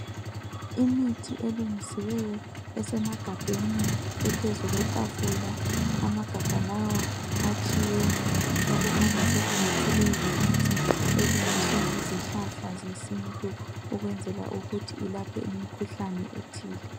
Imithi elungisiweyo esemagabheni ephezu kwetafula. Amagabha lawa atshiyene okukhanya sokungathi leyi yimithi elungiswe ngezihlahla zesintu ukwenzela ukuthi ilaphe imikhuhlane ethile.